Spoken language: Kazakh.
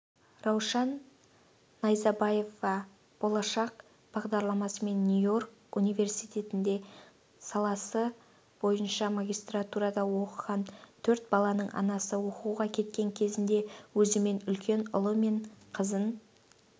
раушан найзабаева болашақ бағдарламасымен нью-йорк университетінде саласы бойынша магистратурада оқыған төрт баланың анасы оқуға кеткен кезінде өзімен үлкен ұлы мен қызын